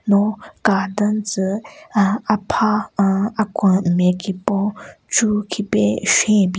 No ka den tsü ann apha nn akwen nme kipon chu khipe shwan bin--